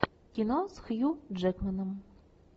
кино с хью джекманом